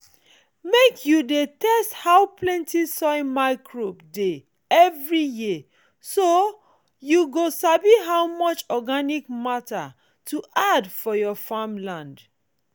make you dey test how plenty soil microbes dey every year so you go sabi how much organic matter to add for your farmland